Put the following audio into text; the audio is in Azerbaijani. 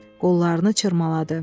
Qollarını çırmaladı.